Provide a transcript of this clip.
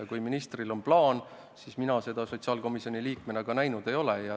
Kui ministril on plaan, siis mina seda sotsiaalkomisjoni liikmena näinud ei ole.